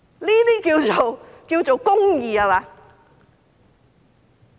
這些叫做公義？